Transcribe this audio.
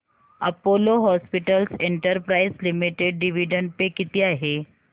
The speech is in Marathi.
Apollo Hospitals Enterprise Limited dividend pay किती आहे